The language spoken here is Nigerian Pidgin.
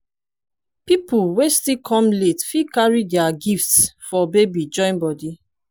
pipol wey still kom late fit carry dia gifts for baby join body